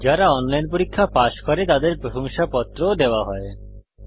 যারা অনলাইন পরীক্ষা পাস করে তাদের প্রশংসাপত্র সার্টিফিকেট ও দেওয়া হয়